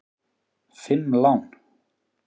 Fimm lán!